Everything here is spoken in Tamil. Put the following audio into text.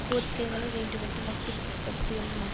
கோரிக்கைகளை வேண்டுமென்று மட்டுப் படுத்தியுள்ளனர்